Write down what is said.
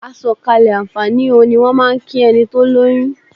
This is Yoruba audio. "Àsọ̀kalẹ̀ àǹfààní o" ni wọ́n máà ń kí ẹni tó lóyún.